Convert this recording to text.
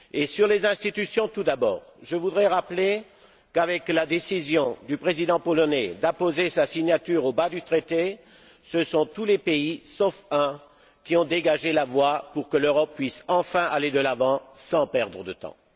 Sur les institutions tout d'abord, je voudrais rappeler qu'avec la décision du président polonais d'apposer sa signature au bas du Traité, ce sont tous les pays, sauf un, qui ont dégagé la voie pour que l'Europe puisse enfin aller de l'avant sans perdre de temps.